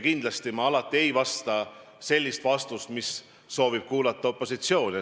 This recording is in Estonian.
Kindlasti ma alati ei anna sellist vastust, mis opositsioon kuulda soovib.